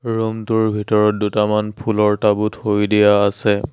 Room টোৰ ভিতৰত দুটামান ফুলৰ টাব ও থৈ দিয়া আছে।